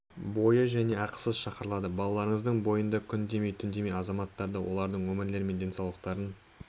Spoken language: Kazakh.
бойы және ақысыз шақырылады балаларыңызды бойында күн демей түн демей азаматтарды олардың өмірлері мен денсаулықтарын